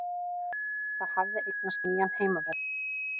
Það hafði eignast nýjan heimavöll.